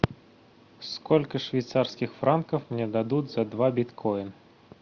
сколько швейцарских франков мне дадут за два биткойна